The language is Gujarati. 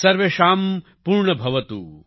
સર્વેષાં પૂર્ણભવતુ